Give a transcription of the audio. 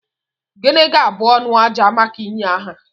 Gịnị ga-abụ anụ àjà maka ịnye aha?